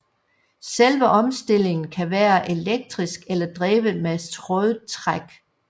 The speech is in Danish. Selve omstillingen kan være elektrisk eller drevet med trådtræk